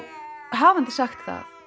hafandi sagt það